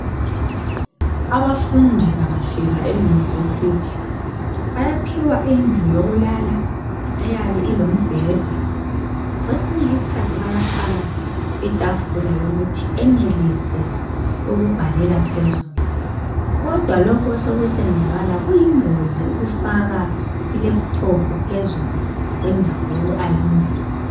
Abafundi bangafika eyunivesithi bayaphiwa indlu yokulala eyabe ilombheda. Kwesinye isikhathi bayafaka itafula yokuthi enelise ukubhalela phezulu. Kodwa lokhu osekusekwenzakala kuyingozi ukufaka ilephuthophu phezulu endawo yokhu -ayinela.